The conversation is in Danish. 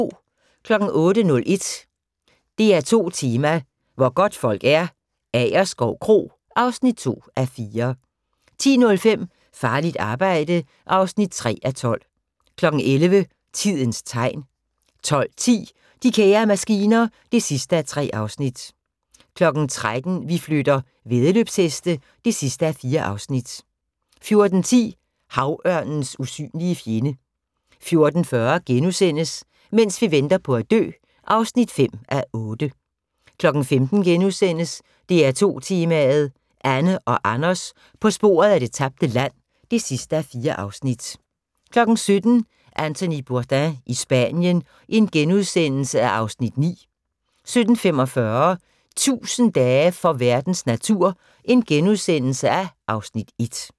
08:01: DR2 Tema: Hvor godtfolk er - Agerskov Kro (2:4) 10:05: Farligt arbejde (3:12) 11:00: Tidens Tegn 12:10: De kære maskiner (3:3) 13:00: Vi flytter - væddeløbsheste (4:4) 14:10: Havørnens usynlige fjende 14:40: Mens vi venter på at dø (5:8)* 15:00: DR2 Tema: Anne og Anders på sporet af det tabte land (4:4)* 17:00: Anthony Bourdain i Spanien (Afs. 9)* 17:45: 1000 dage for verdens natur (Afs. 1)*